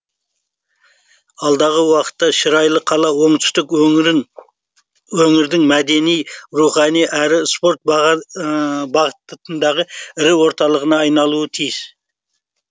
алдағы уақытта шырайлы қала оңтүстік өңірін өңірдің мәдени рухани әрі спорт бағытындағы ірі орталығына айналуы тиіс